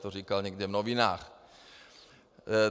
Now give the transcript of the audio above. To říkal někde v novinách.